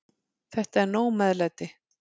Þetta er nóg meðlæti.